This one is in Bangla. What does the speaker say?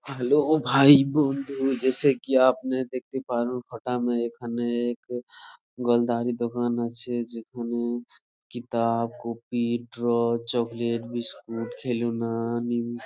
হ্যালো ভাই বন্ধু জয়সে কি আপনি দেখতে পান ফাঁকা মে এখানে দোকান আছে | যেখানে কিতাব কপি ড্র চকোলেট বিস্কুট খেলনা নিম--